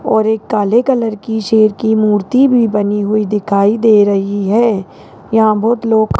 और एक काले कलर की शेर की मूर्ति भी बनी हुई दिखाई दे रही हैं यहां बहुत लोग --